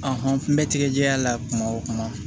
n bɛ tigɛjɛ diya la kuma o kuma